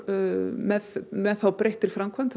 með með breyttri framkvæmd